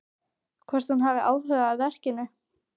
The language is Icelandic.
Hvort hún hafi áhuga á verkinu.